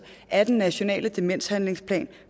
af den nationale demenshandlingsplan